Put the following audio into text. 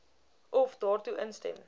of daartoe instem